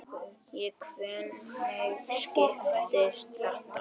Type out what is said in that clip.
Og hvernig skiptist þetta?